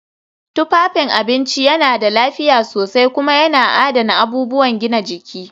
Tufafin abinci yana da lafiya sosai kuma yana adana abubuwan gina jiki